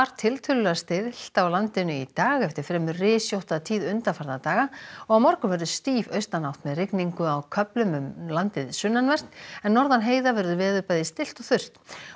tiltölulega stillt á landinu í dag eftir fremur rysjótta tíð undanfarna daga á morgun verður stíf austanátt með rigningu á köflum um landið sunnanvert en norðan heiða verður veður bæði stillt og þurrt